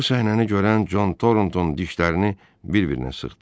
Bu səhnəni görən Con Tornton dişlərini bir-birinə sıxdı.